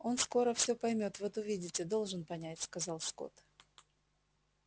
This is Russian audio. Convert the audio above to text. он скоро все поймёт вот увидите должен понять сказал скотт